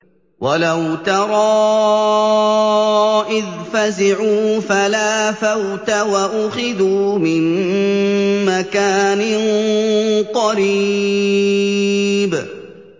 وَلَوْ تَرَىٰ إِذْ فَزِعُوا فَلَا فَوْتَ وَأُخِذُوا مِن مَّكَانٍ قَرِيبٍ